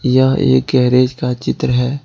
यह गैरेज का चित्र है।